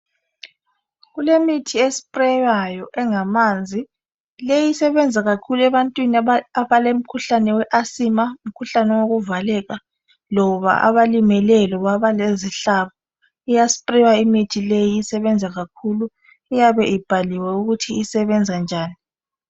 Kulemithi esprawayo engamazi le isebenza kakhulu ebantwini abalemkhuhlane we asma umkhuhlane wokuvaleka loba abalimeleyo loba abalezihlabo iyaspraywa imithi le isebenza kakhulu i iyabe ibhaliwe ukuthi isebenza njani